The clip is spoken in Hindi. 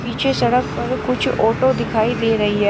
पीछे सड़क पर कुछ ऑटो दिखाई दे रही है।